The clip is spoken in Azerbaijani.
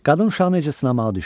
Qadın uşağı necə sınamağı düşündü.